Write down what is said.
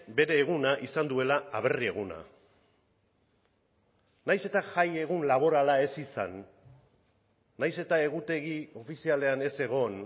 bere eguna izan duela aberri eguna nahiz eta jaiegun laborala ez izan nahiz eta egutegi ofizialean ez egon